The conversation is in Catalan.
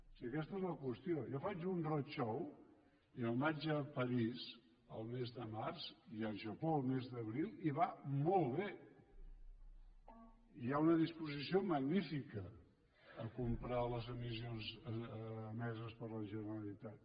si aquesta és la qüestió jo faig un roadshow i me’n vaig a paris el mes de març i al japó el mes d’abril i va molt bé i hi ha una disposició magnífica a comprar les emissions emeses per la generalitat